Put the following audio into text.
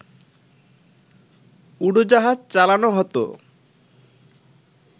উড়োজাহাজ চালান হত